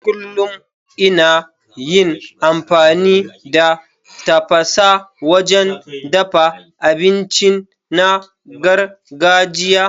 Kullum ina yin amfani da tafasa wajen dafa abinci na gargajiya.